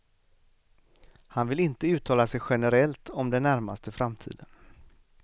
Han vill inte uttala sig generellt om den närmaste framtiden.